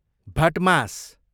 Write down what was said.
भटमास